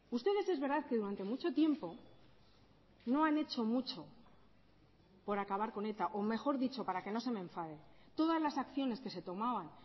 ustedes es verdad que durante mucho tiempo no han hecho mucho por acabar con eta o mejor dicho para que no se me enfade todas las acciones que se tomaban